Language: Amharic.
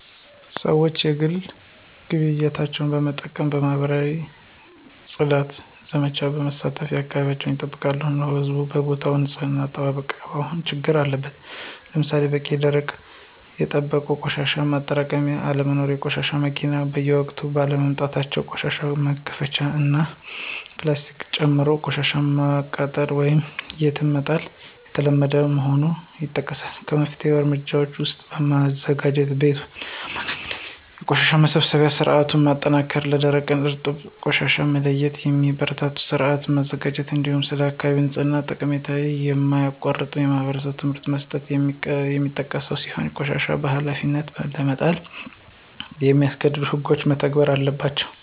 ሰዎች የግል ግቢያቸውን በመጥረግና በማኅበረሰብ የፅዳት ዘመቻዎች በመሳተፍ አካባቢያቸውን ይጠብቃሉ። ሆኖም የሕዝብ ቦታዎች ንፅህና አጠባበቅ አሁንም ችግር አለበት። ለምሳሌ በቂና ደረጃቸውን የጠበቁ የቆሻሻ ማጠራቀሚያዎች አለመኖር፣ የቆሻሻ መኪናዎች በወቅቱ ባለመምጣታቸው ቆሻሻ መከማቸቱ እና ፕላስቲክን ጨምሮ ቆሻሻን ማቃጠል ወይም የትም መጣል የተለመደ መሆኑ ይጠቀሳል። ከመፍትሄ እርምጃዎች ውስጥም በማዘጋጃ ቤት አማካኝነት የቆሻሻ መሰብሰቢያ ሥርዓቱን ማጠናከር፣ ለደረቅና እርጥብ ቆሻሻ መለያየትን የሚያበረታታ ሥርዓት መዘርጋት፣ እንዲሁም ስለ አካባቢ ንጽሕና ጠቀሜታ የማያቋርጥ የማኅበረሰብ ትምህርት መስጠት የሚጠቀሱ ሲሆን ቆሻሻን በኃላፊነት ለመጣል የሚያስገድዱ ሕጎችም መተግበር አለባቸው።